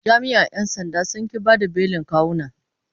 Jami’an ‘yan sandan sun ƙi bayar da belin kawuna.